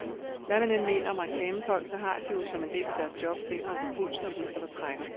Hvad man end mener om reklamefolk, så har de jo, som en del af deres job, fingeren på pulsen og ved, hvad der trækker.